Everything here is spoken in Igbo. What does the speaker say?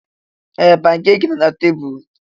Ee! Pankeeki nọ na tebụlụ.